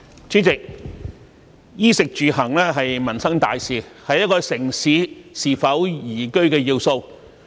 主席，"衣、食、住、行"是民生大事，是一個城市是否宜居的要素。